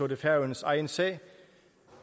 det færøernes egen sag